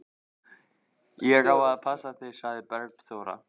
Ég á að passa þig, sagði Bergþóra.